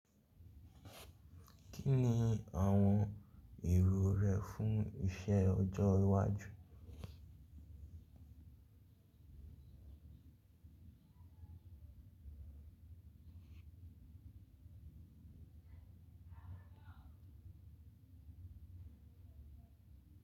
Kí ni àwọn èrò rẹ fún iṣẹ́ ọjọ́ iwájú?